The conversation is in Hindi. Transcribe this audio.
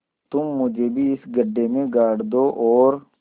तुम मुझे भी इस गड्ढे में गाड़ दो और